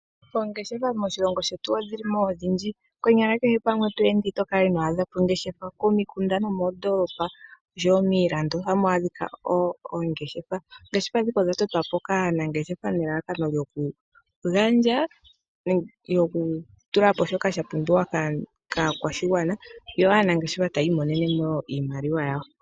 Oongeshefa moshilongo shetu odhi li mo odhindji. Konyala kehe mpa to ende ot kala ino adha po ongeshefa. Komikunda nomoondoolopa osho wo miilando, ohamu adhika oongeshefa. Oongeshefa ndhika odha totwa po kaanangeshefa nelalakano lyoku gandja noku tula po shoka sha pumbiwa kaakwashigwagana, yo aanangeshefa taya imonenene mo iimaliwa yawo.